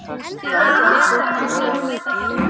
Ég heyrði að Daði hefði komist undan.